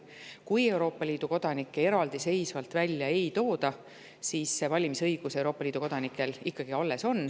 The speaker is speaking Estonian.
Kui Euroopa Liidu kodanikke ka eraldi välja ei tooda, siis Euroopa Liidu kodanikel on valimisõigus ikkagi alles.